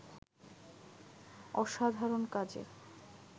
অসাধারণ কাজের